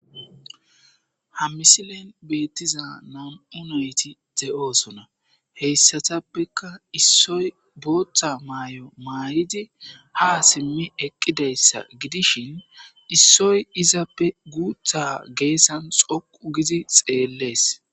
Ha misilen beettiza nam7u nayti de7oosona heyssatappeka issoy booththa maay7o maayidi ha simmi eqqideyssa gidishin issoy izappe guutha geessan xoqu gidi xeellees.